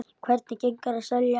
Hvernig gengur að selja?